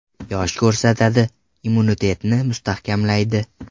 Yosh ko‘rsatadi, immunitetni mustahkamlaydi.